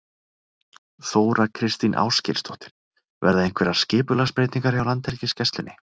Þóra Kristín Ásgeirsdóttir: Verða einhverjar skipulagsbreytingar hjá Landhelgisgæslunni?